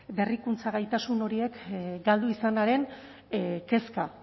berrikuntza gaitasun horiek galdu izanaren kezka